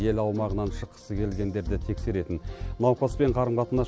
ел аумағынан шыққысы келгендерді тексеретін науқаспен қарым қатынас